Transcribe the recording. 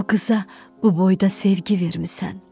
Bu qıza bu boyda sevgi vermisən.